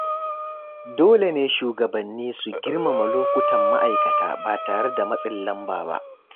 Dole ne shugabanni su girmama lokutan ma’aikata ba tare da matsin lamba ba.